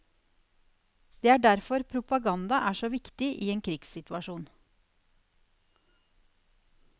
Det er derfor propaganda er så viktig i en krigssituasjon.